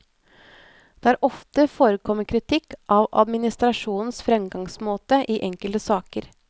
Det har ofte forekommet kritikk av administrasjonens fremgangsmåte i enkelte saker.